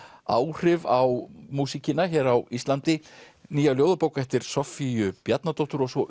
áhrif á músíkina hér á Íslandi nýja ljóðabók eftir Soffíu Bjarnadóttur og svo